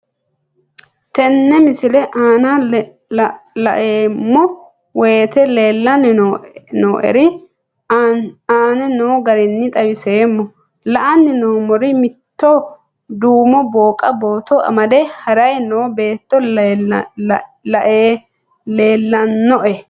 Tenne misile aana laeemmo woyte leelanni noo'ere aane noo garinni xawiseemmo. La'anni noomorri mitto duumo booqa bootto amade harayi no beeti leelanoe.